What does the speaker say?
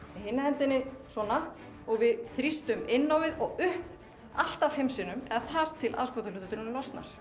hinni hendinni svona og við þrýstum inn á við og upp allt að fimm sinnum eða þar til aðskotahluturinn losnar